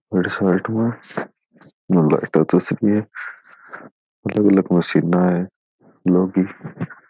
एक साइड में लाइटा चसरी है अलग अलग मशीना है लोह की --